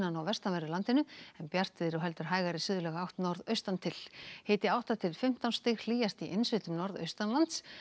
og vestanverðu landinu en bjartviðri og heldur hægari átt norðaustan til hiti átta til fimmtán stig hlýjast í innsveitum norðaustanlands